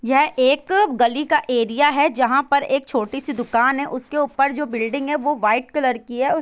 यह एक गली का एरिया है जहाँ पर एक छोटी सी दुकान है उसके ऊपर जो बिल्डिंग है वो वाइट कलर की है उस --